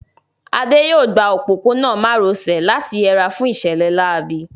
Adé yóò gba òpópónà má ro sè láti yẹra fún ìṣẹ̀lẹ̀ láabi